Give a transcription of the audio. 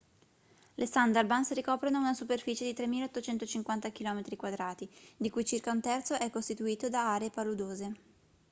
le sundarbans ricoprono una superficie di 3.850 km² di cui circa un terzo è costituito da aree paludose